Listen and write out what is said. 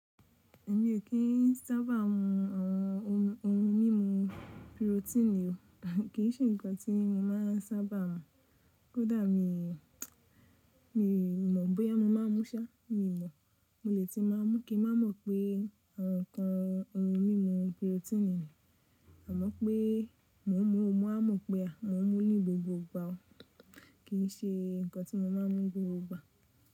Èmi ò kí ń sábà mu àwọn ohun ohun mímu pirotíìnì o, kì í ṣe ǹkan tí mo máa sábà mu. Kódà mi, mi mọ̀ bóyá mo máa mú ṣá, mi ò mọ̀. Mo lè tí màá mú kí n má mọ̀ pé àwọn ǹkan ohun mímu pirotíìnì ni, àmọ́ pé mò ń mu mo wa mọ̀ pé à mo mú ní gbogbo ìgbà o, kì í ṣe ǹkan tí mo máa ń mú gbogbo ìgbà.